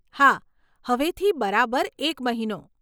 હા, હવેથી બરાબર એક મહિનો.